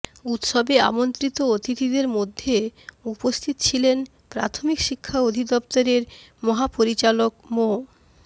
উৎসবে আমন্ত্রিত অতিথিদের মধ্যে উপস্থিত ছিলেন প্রাথমিক শিক্ষা অধিদফতরের মহাপরিচালক মো